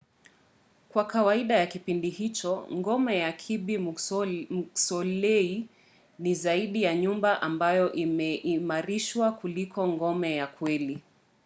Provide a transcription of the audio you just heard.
kwa kawaida ya kipindi hicho ngome ya kirby muxloe ni zaidi ya nyumba ambayo imeimarishwa kuliko ngome ya kweli